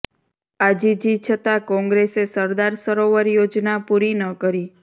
આજીજી છતા કોંગ્રેસે સરદાર સરોવર યોજના પુરી ન કરી